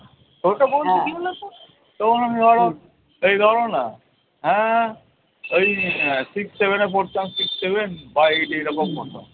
তখন আমি ধরো এই ধরো নাহ হ্যাঁ ওই six seven এ পড়তাম six seven বা eight এইরকম